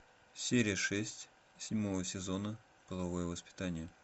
серия шесть седьмого сезона половое воспитание